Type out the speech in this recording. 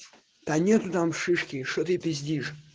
да нету там шишки что ты пиздишь